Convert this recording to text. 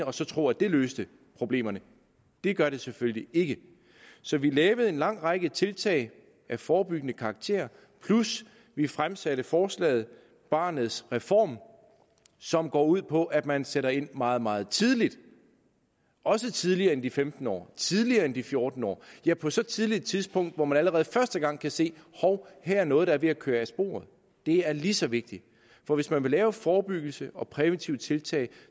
og så tro at det løste problemerne det gør det selvfølgelig ikke så vi lavede en lang række tiltag af forebyggende karakter plus vi fremsatte forslaget barnets reform som går ud på at man sætter ind meget meget tidligt også tidligere end de femten år tidligere end de fjorten år ja på så tidligt et tidspunkt hvor man allerede første gang kan se hov her er noget der er ved at køre af sporet det er lige så vigtigt for hvis man vil lave forebyggelse og præventive tiltag